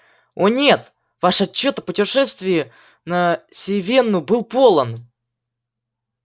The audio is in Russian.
о нет ваш отчёт о путешествии на сивенну был полон